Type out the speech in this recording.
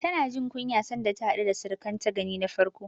Tana jin kunya sanda ta haɗu da surukanta gani na farko.